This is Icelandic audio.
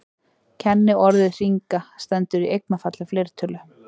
kenniorðið hringa stendur í eignarfalli fleirtölu